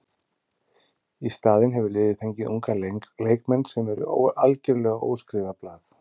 Í staðinn hefur liðið fengið unga leikmenn sem eru algjörlega óskrifað blað.